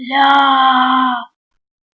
ля